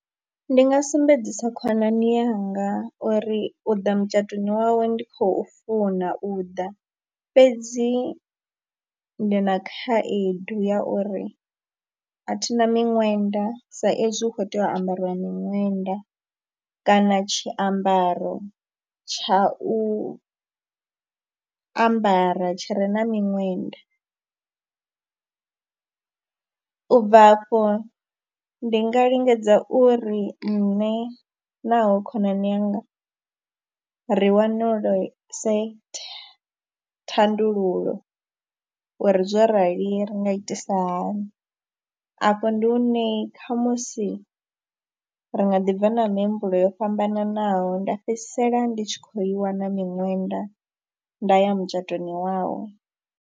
Ndi nga sumbedzisa khonani yanga uri u ḓa mutshatoni wawe ndi khou funa u ḓa fhedzi ndi na khaedu ya uri a thi na miṅwenda sa ezwi hu khou tea u ambariwa miṅwenda kana tshiambaro tsha u ambara tshi re na miṅwenda. U bva afho ndi nga lingedza uri nṋe na hoyo khonani yanga ri wanuluse thandululo uri zwo rali ri nga itisa hani, afho ndi hune khamusi ri nga ḓi bva na mihumbulo yo fhambananaho, nda fhedzisela ndi tshi khou i wana miṅwenda nda ya mutshatoni wawe.